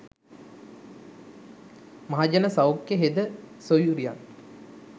මහජන සෞඛ්‍ය හෙද සොයුරියන්